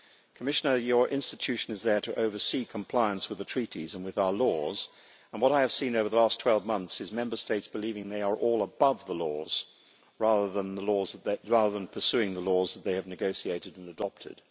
Commissioner, your institution is there to oversee compliance with the Treaties and with our laws, and what I have seen over the last 12 months is Member States believing they are all above the laws rather than pursuing the laws that they have negotiated and adopted.